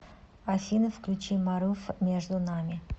афина включи марув между нами